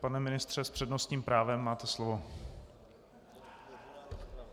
Pane ministře, s přednostním právem, máte slovo.